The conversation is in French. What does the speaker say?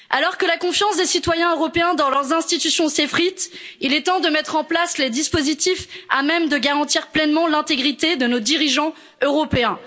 Alors que la confiance des citoyens européens dans leurs institutions s'effrite, il est temps de mettre en place les dispositifs à même de garantir pleinement l'intégrité de nos dirigeants européens.